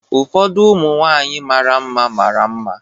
Ụfọdụ ụmụ nwanyị mara mma mara mma.